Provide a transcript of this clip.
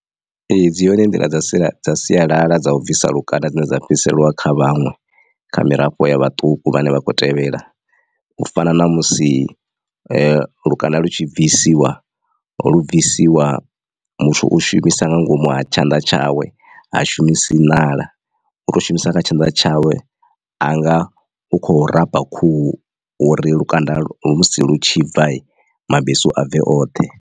Ee dzi hone nḓila dza sialala dza u bvisa lukanda dzine dza fhiriselwa kha vhaṅwe kha mirafho ya vhaṱuku vhane vha khou tevhela u fana na musi lukanda lu tshi bvisiwa lu bvisiwa muthu u shumisa nga ngomu ha tshanḓa tshawe ha shumisi ṋala u to shumisa kha tshanḓa tshawe anga u kho rafha khuhu uri lukanda lu musi lu tshi bva mabesu a bve oṱhe.